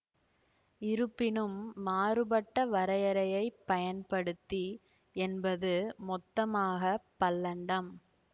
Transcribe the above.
இருப்பினும் மாறுபட்ட வரையறையைப் பயன்படுத்தி என்பது மொத்தமாக பல்லண்டம்